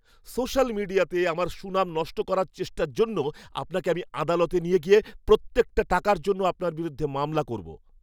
Social মিডিয়াতে আমার সুনাম নষ্ট করার চেষ্টার জন্য, আপনাকে আমি আদালতে নিয়ে গিয়ে প্রত্যেকটা টাকার জন্য আপনার বিরুদ্ধে মামলা করব।